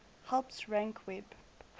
helps rank web